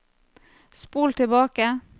spol tilbake